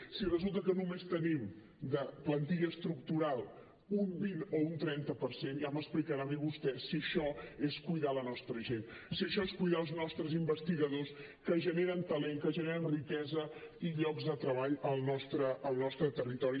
si resulta que només tenim de plantilla estructural un vint o un trenta per cent ja m’explicarà a mi vostè si això és cuidar la nostra gent si això és cuidar els nostres investigadors que generen talent que generen riquesa i llocs de treball al nostre territori